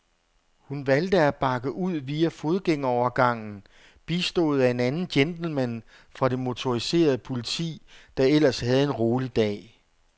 Hun valgte at bakke ud via fodgængerovergangen, bistået af en anden gentleman fra det motoriserede politi, der ellers havde en rolig dag.